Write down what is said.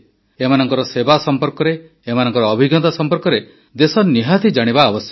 ଏମାନଙ୍କ ସେବା ସମ୍ପର୍କରେ ଏମାନଙ୍କ ଅଭିଜ୍ଞତା ସମ୍ପର୍କରେ ଦେଶ ନିହାତି ଜାଣିବା ଆବଶ୍ୟକ